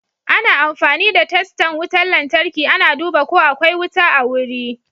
Ana amfani da testan wutan lantarki ana duba ko akwai wuta a wuri.